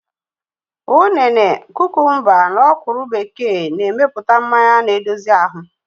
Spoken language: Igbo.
Ụnene, kukumba na ọ̀kwụ́rụ́ bekee n emepụta mmanya na-edozi ahụ